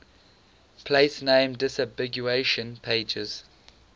place name disambiguation pages